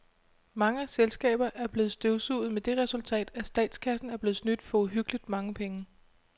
Mange selskaber er blevet støvsuget med det resultat, at statskassen er blevet snydt for uhyggeligt mange penge.